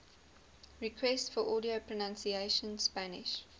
requests for audio pronunciation spanish